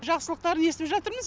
жақсылықтарын естіп жатырмыз